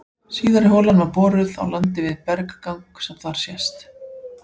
Síðari holan var boruð á landi við berggang sem þar sést.